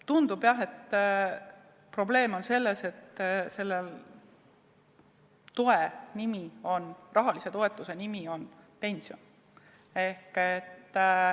Tundub jah, et probleem on selles, et selle rahalise toetuse nimetus on pension.